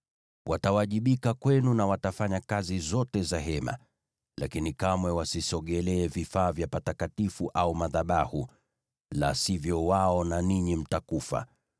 Watawajibika kwenu na watafanya kazi zote za Hema, lakini kamwe wasisogelee vifaa vya patakatifu au madhabahu, la sivyo wao na ninyi mtakufa.